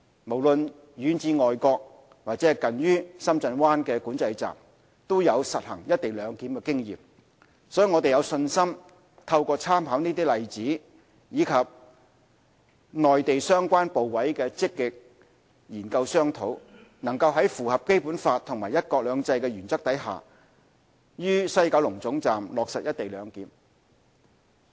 無論遠至外國或近於深圳灣管制站，都有實行"一地兩檢"的經驗，所以我們有信心透過參考這些例子，以及與內地相關部委的積極研究商討，能在符合《基本法》和"一國兩制"的原則下於西九龍總站落實"一地兩檢"。